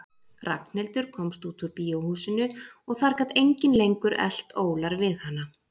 Ragnhildur komst út úr bíóhúsinu og þar gat enginn lengur elt ólar við hana.